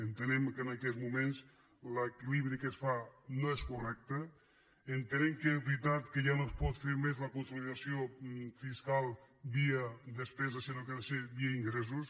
entenem que en aquests moments l’equilibri que es fa no és correcte entenem que és veritat que ja no es pot fer més la consolidació fiscal via despesa sinó que ha de ser via ingressos